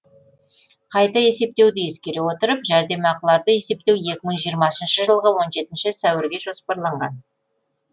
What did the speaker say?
қайта есептеуді ескере отырып жәрдемақыларды есептеу екі мың жиырмасыншы жылғы он жетінші сәуірге жоспарланған